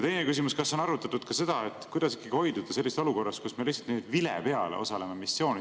Teine küsimus: kas on arutatud ka seda, kuidas hoiduda olukordadest, kus me lihtsalt vile peale missioonidel osaleme?